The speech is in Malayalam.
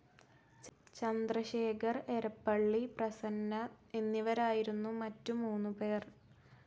ചന്ദ്രശേഖർ, ഏരപ്പള്ളി പ്രസന്ന എന്നിവരായിരുന്നു മറ്റു മൂന്നുപേർ.